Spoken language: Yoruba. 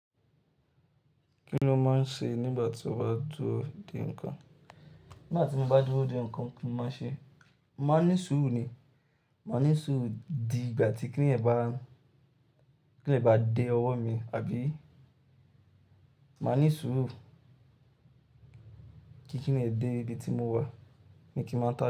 Kí ló máa ń ṣe nígbà tí ó bá dúró dé nǹkan? Nígbà tí mo bá dúró dè nǹkan mo máa n ṣe? Máa ní sùúrù ni. Máa ní sùúrù di ìgbà tí kí nìyẹn bá, kí nìyẹn bá dé ọwọ́ mi, àbí? Máa ní sùúrù kí kí nìyẹn dé ibi tí mo wà ni kí máa tó.